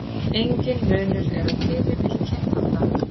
Enginn munur er á tíðni milli kynþátta.